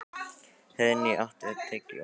Heiðný, áttu tyggjó?